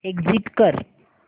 exit कर